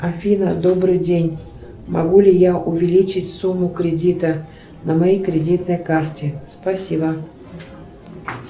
афина добрый день могу ли я увеличить сумму кредита на моей кредитной карте спасибо